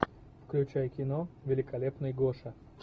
включай кино великолепный гоша